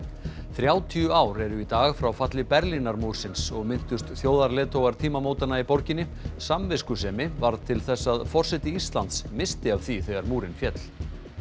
þrjátíu ár eru í dag frá falli Berlínarmúrsins og minntust þjóðarleiðtogar tímamótanna í borginni samviskusemi varð til þess að forseti Íslands missti af því þegar múrinn féll